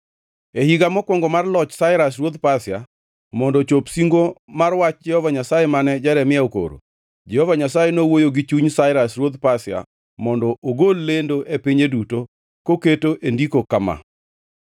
E higa mokwongo mar loch Sairas ruodh Pasia, mondo ochop singo mar wach Jehova Nyasaye mane Jeremia okoro, Jehova Nyasaye nowuoyo gi chuny Sairas ruodh Pasia mondo ogol lendo e pinye duto koketo e ndiko kama: